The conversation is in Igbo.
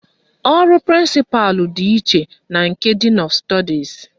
Ọrụ prịnsịpalụ dị iche na nke din ọf stọdis